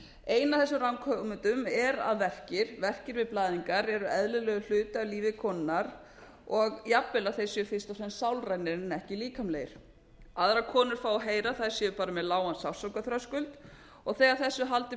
ein af þessum ranghugmyndum að verkir við blæðingar eru eðlilegur hluti af lífi konunnar og jafnvel að þeir séu fyrst og fremst sálrænir en ekki líkamlegir aðrar konur fá að heyra að þær séu bara með lágan sársaukaþröskuld og þegar þessu er haldið